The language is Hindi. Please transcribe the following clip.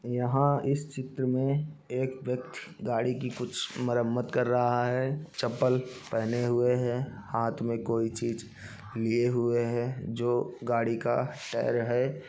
यहां इस चित्र में एक व्यक्ति गाड़ी की कुछ मरम्मत कर रहा है चप्पल पेहने हुए है हाथ में कोई चीज लिए हुए है जो गाड़ी का शायर है।